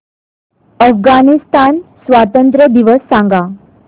अफगाणिस्तान स्वातंत्र्य दिवस सांगा